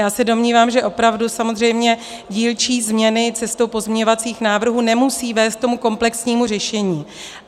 Já se domnívám, že opravdu samozřejmě dílčí změny cestou pozměňovacích návrhů nemusí vést ke komplexnímu řešení.